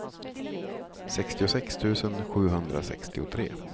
sextiosex tusen sjuhundrasextiotre